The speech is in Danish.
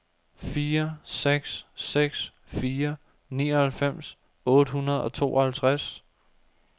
fire seks seks fire nioghalvfems otte hundrede og tooghalvtreds